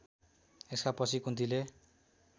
यसका पछि कुन्तीले